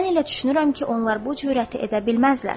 Mən elə düşünürəm ki, onlar bu cürəti edə bilməzlər.